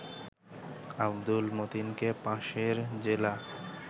আব্দুল মতিনকে পাশের জেলা